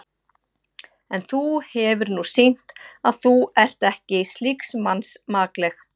En þú hefir nú sýnt, að þú ert ekki slíks manns makleg.